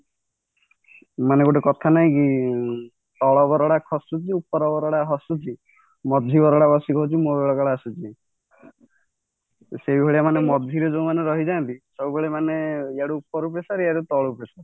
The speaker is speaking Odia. ମାନେ ଗୋଟେ କଥା ନାଇକି ତଳ ବରଡା ଖସୁଛି ଉପର ବରଡା ହସୁଛି ମଝି ବରଡା ବସି କହୁଛି ମୋ ବେଳକାଳ ଆସୁଛି ସେଇଭଳିଆ ମାନେ ମଝିରେ ଯୋଉମାନେ ରହି ଯାଆନ୍ତି ସବୁବେଳେ ମାନେ ରହି ଯାଆନ୍ତି ଇଆଡୁ ଉପରୁ pressure ଇଆଡୁ ତଳୁ pressure